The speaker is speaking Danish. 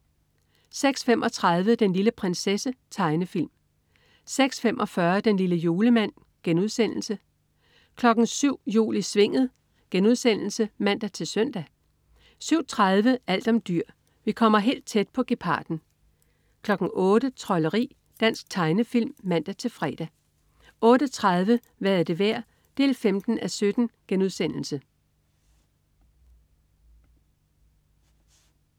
06.35 Den lille prinsesse. Tegnefilm (man-fre) 06.45 Den lille julemand* (man-fre) 07.00 Jul i Svinget* (man-søn) 07.30 Alt om dyr. Vi kommer helt tæt på geparden 08.00 Trolderi. Dansk tegnefilm (man-fre) 08.30 Hvad er det værd? 15:17*